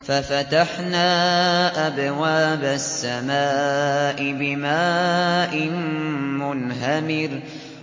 فَفَتَحْنَا أَبْوَابَ السَّمَاءِ بِمَاءٍ مُّنْهَمِرٍ